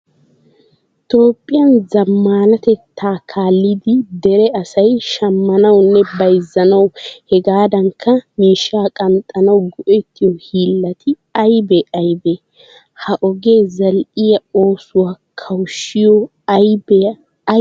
Toophphiyan zammaanatetta kaallidi dere asay shammanawunne bayzzanawu hegaadankka miishshaa qanxxanawu go"ettiyo hiillati aybee aybee? Ha ogee zal"iya oosuwa kawushshiyo abee ay keenee?